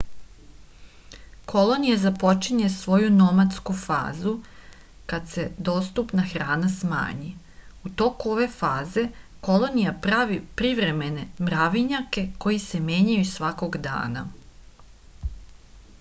kolonija započinje svoju nomadsku fazu kad se dostupna hrana smanji u toku ove faze kolonija pravi privremene mravinjake koji se menjaju svakog dana